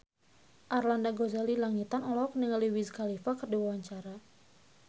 Arlanda Ghazali Langitan olohok ningali Wiz Khalifa keur diwawancara